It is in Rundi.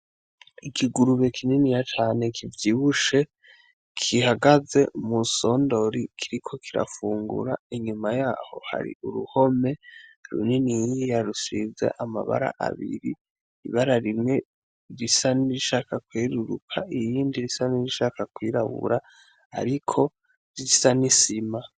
Ikigurube kininiya cane kivyibushe gihagaze mu sondori kiriko kirafungura inyuma yaho hari uruhome runiniya rusize amabara abiri, ibara rimwe risa n'irishaka kweruruka, irinda risa n'irishaka kwirabura ariko risa nk'isima.